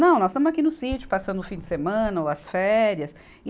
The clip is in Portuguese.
Não, nós estamos aqui no sítio, passando o fim de semana ou as férias.